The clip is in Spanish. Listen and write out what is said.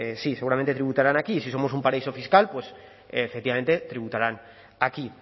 pues sí seguramente tributarán aquí y si somos un paraíso fiscal pues efectivamente tributarán aquí